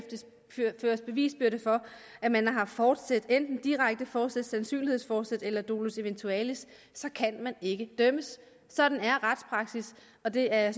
føres bevisbyrde for at man har haft forsæt enten direkte forsæt sandsynlighedsforsæt eller dolus eventualis så kan man ikke dømmes sådan er retspraksis og det er jeg